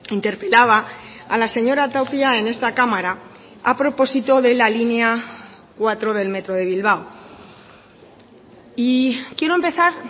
interpelaba a la señora tapia en esta cámara a propósito de la línea cuatro del metro de bilbao y quiero empezar